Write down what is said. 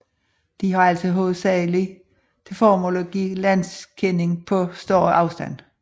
De har altså hovedsaglig til formål at give landkending på større afstand